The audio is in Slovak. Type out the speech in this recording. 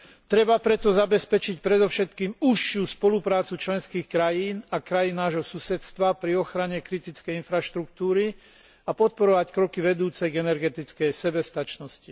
Treba preto zabezpečiť predovšetkým užšiu spoluprácu členských krajín a krajín nášho susedstva pri ochrane kritickej infraštruktúry a podporovať kroky vedúce k energetickej sebestačnosti.